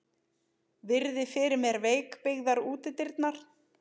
Virði fyrir mér veikbyggðar útidyrnar.